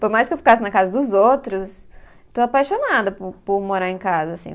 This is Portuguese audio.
Por mais que eu ficasse na casa dos outros, estou apaixonada por por morar em casa, assim.